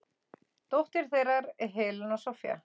Dóttir þeirra er Helena Soffía.